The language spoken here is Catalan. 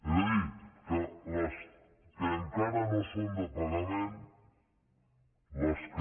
és a dir que les que encara no són de pagament les que